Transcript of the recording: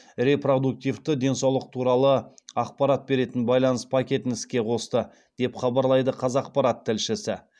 репродуктивті денсаулық туралы ақпарат беретін байланыс пакетін іске қосты деп хабарлайды қазақпарат тілшісі